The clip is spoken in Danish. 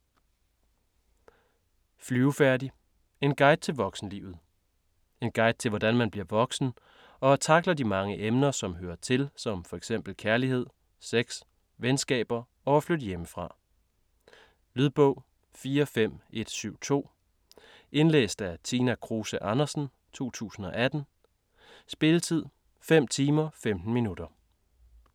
Flyvefærdig: en guide til voksenlivet En guide til hvordan man bliver voksen, og tackler de mange emner som hører til som f.eks kærlighed, sex, venskaber og at flytte hjemmefra. Lydbog 45172 Indlæst af Tina Kruse Andersen, 2018. Spilletid: 5 timer, 15 minutter.